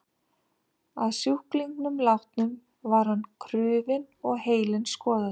Að sjúklingnum látnum var hann krufinn og heilinn skoðaður.